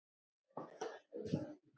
Ég fór bara í bíltúr.